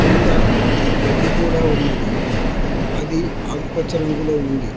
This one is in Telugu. కింద గడ్డి కూడా ఉన్నది అది ఆకుపచ్చ రంగులో ఉంది.